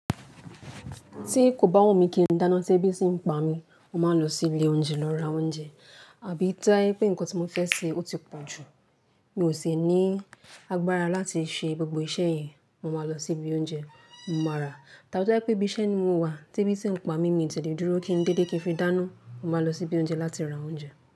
Tí kò bá wọ́n mi kí n dáná, tí ẹbí sì ń pa mi, mo màá n lọ sí ilé oúnjẹ lọ ra oúnjẹ. Àbí tí o ba je pé nǹkan tí mo fẹ́ ṣe ó ti pọ̀jù, mi ò ṣe ní agbára láti ṣe gbogbo iṣẹ́ yẹn, mo màá lọ sí ibi oúnjẹ, mo máa rà á. Tàbi to ba je pé ibi iṣẹ́ ni mo wà, tí ẹbí ti ń pa mí mi ò lè dúró kí n délé kí n fi dáná, màá lọ sí ibi oúnjẹ láti ra oúnjẹ.